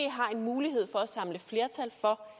har en mulighed for at samle flertal for